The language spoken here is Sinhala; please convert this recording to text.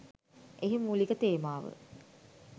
එහි මූළික තේමාව